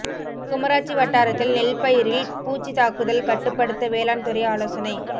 குமராட்சி வட்டாரத்தில் நெல்பயிரில் பூச்சி தாக்குதல் கட்டுப்படுத்த வேளாண் துறை ஆலோசனை